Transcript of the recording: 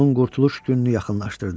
Onun qurtuluş gününü yaxınlaşdırdı.